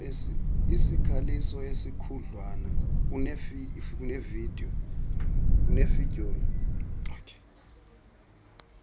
isikhaliso esikhudlwana kunefidyoli